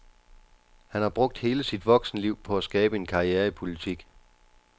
Han har brugt hele sit voksenliv på at skabe en karriere i politik.